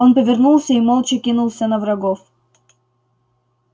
он повернулся и молча кинулся на врагов